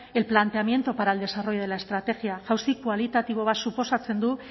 el planteamiento para el desarrollo de la estrategia jauzi kualitatibo bat suposatzen du